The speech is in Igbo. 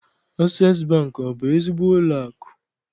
Asees Bankị, ọ bụ ezigbo ụlọakụ?